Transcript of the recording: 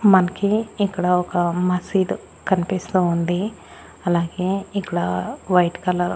మనకి ఇక్కడ ఒక మసీదు కనిపిస్తూ ఉంది అలాగే ఇక్కడ వైట్ కలర్ .